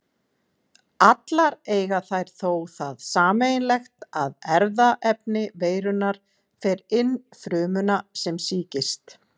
Allar eiga þær þó það sameiginlegt að erfðaefni veirunnar fer inn frumuna sem sýkist.